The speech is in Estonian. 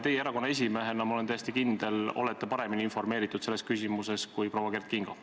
Teie erakonna esimehena, ma olen täiesti kindel, olete paremini informeeritud selles küsimuses kui proua Kert Kingo.